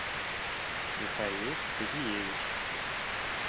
михаил казиевич